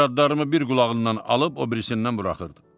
Bir addalarımı bir qulağından alıb o birisindən buraxırdı.